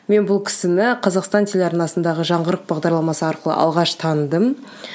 мен бұл кісіні қазақстан телеарнасындағы жаңғырық бағдарламасы арқылы алғаш таныдым